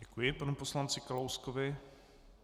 Děkuji panu poslanci Kalouskovi.